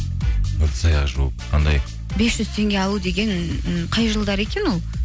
ыдыс аяқ жуып қандай бес жүз теңге алу деген ы қай жылдары екен ол